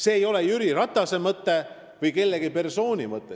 See ei ole Jüri Ratase või mõne teise persooni mõte.